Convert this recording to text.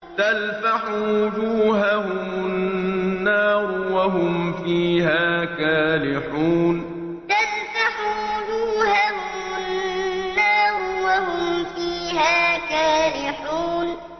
تَلْفَحُ وُجُوهَهُمُ النَّارُ وَهُمْ فِيهَا كَالِحُونَ تَلْفَحُ وُجُوهَهُمُ النَّارُ وَهُمْ فِيهَا كَالِحُونَ